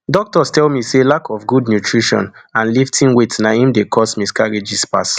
doctors tell me say lack of good nutrition and lifting weight na im dey cause miscarriages pass